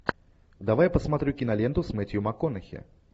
давай посмотрю киноленту с мэттью макконахи